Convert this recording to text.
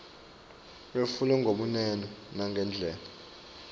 wetfulwe ngebunono nangendlela